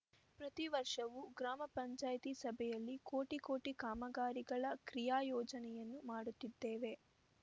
ಪ್ರತಿ ವರ್ಷವು ಗ್ರಾಮ ಪಂಚಾಯಿತಿ ಸಭೆಯಲ್ಲಿ ಕೋಟಿ ಕೋಟಿ ಕಾಮಗಾರಿಗಳ ಕ್ರಿಯಾಯೋಜನೆಯನ್ನು ಮಾಡುತ್ತಿದ್ದೇವೆ